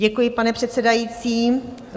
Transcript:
Děkuji, pane předsedající.